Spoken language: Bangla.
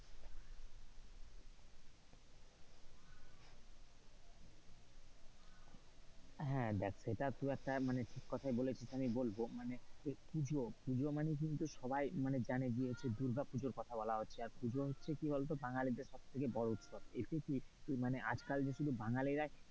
হ্যাঁ দেখ সেটা তুই একটা মানে ঠিক কথাই বলেছিস আমি বলবো পুজো মানে পুজো মানে কিন্তু সবাই মানে জানে মানুষের দুর্গাপূজার কথা বলা হচ্ছে। দুর্গা পুজোর কথা বলা হচ্ছে। আর পূজা হচ্ছে কি বলতো বাঙালিদের সবচেয়ে বড় উৎসব, আজকাল তো শুধু বাঙালিরাই,